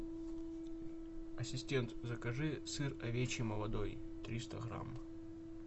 ассистент закажи сыр овечий молодой триста грамм